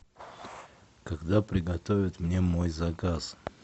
когда приготовят мне мой заказ